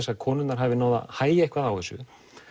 að konurnar hafi náð að hægja eitthvað á þessu